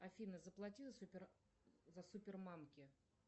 афина заплати за супермамки